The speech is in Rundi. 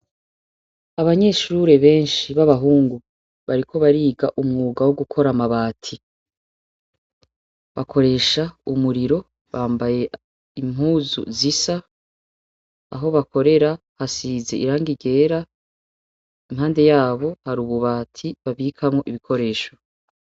Abanyeshure benshi b'abahungu bariko bariga umwuga wo gukora amabati bakoresha umuriro bambaye impuzu zisa aho bakorera hasize irangi ryera impande yabo hari ububati babikamwo ibikoresho.